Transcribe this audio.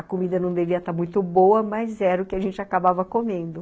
A comida não devia estar muito boa, mas era o que a gente acabava comendo.